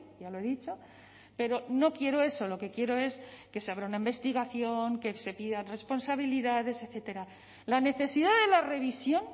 ya lo he dicho pero no quiero eso lo que quiero es que se abra una investigación que se pidan responsabilidades etcétera la necesidad de la revisión